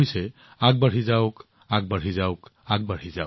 ইয়াৰ অৰ্থ হৈছে আগবাঢ়ি যাওক আগবাঢ়ি যাওক